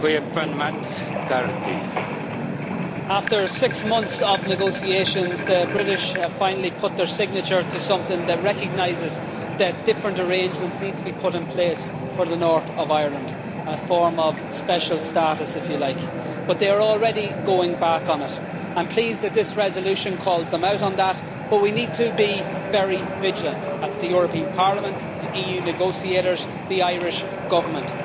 Mr President, after six months of negotiations, the British have finally put their signature to something that recognises that different arrangements need to be put in place for the north of Ireland a form of special status, if you like but they are already going back on it. I am pleased that this resolution calls them out on that, but we need to be very vigilant that is the European Parliament, the EU negotiators and the Irish Government.